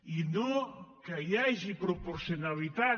i no que hi hagi proporcionalitat